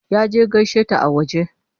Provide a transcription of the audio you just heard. Ya je gaishe ta a waje.